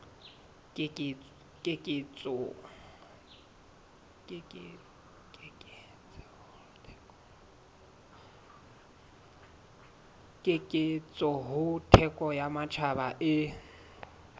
keketseho thekong ya matjhaba e